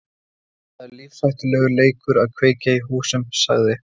Það er lífshættulegur leikur að kveikja í húsum sagði